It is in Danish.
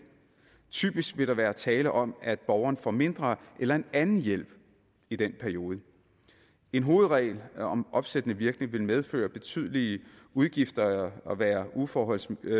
typisk vil der være tale om at borgeren får mindre eller en anden hjælp i den periode en hovedregel om opsættende virkning vil medføre betydelige udgifter og være uforholdsmæssig